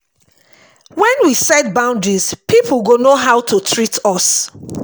when we set boundaries pipo go know how to treat us